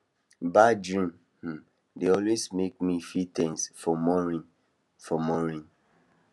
bad dreams um dey always make me feel ten se for morning for morning